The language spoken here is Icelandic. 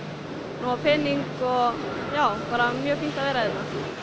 nóg af pening og já bara mjög fínt að vera hérna